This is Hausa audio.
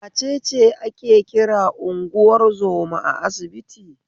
Wacece ake kira unguwar zoma a asibiti?